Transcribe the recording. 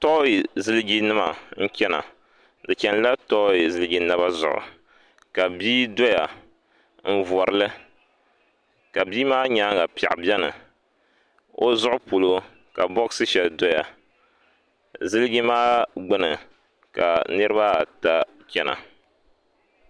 Toyi ziliji nima n chena di chenila toyi ziliji naba zuɣu la bia doya n vorili ka bia maa nyaanga piɛɣu biɛni o zuɣu polo ka boɣasi sheli doya ziliji maa gbini ma niriba ata chena.